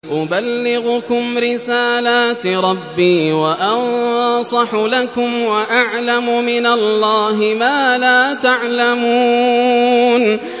أُبَلِّغُكُمْ رِسَالَاتِ رَبِّي وَأَنصَحُ لَكُمْ وَأَعْلَمُ مِنَ اللَّهِ مَا لَا تَعْلَمُونَ